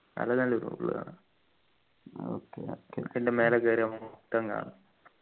full കാണാ പിന്നെ മേലെ കേറി നോക്കുമ്പോ